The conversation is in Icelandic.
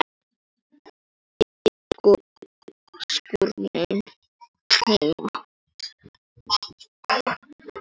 Í skúrnum heima.